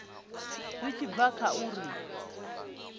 zwi tshi bva kha uri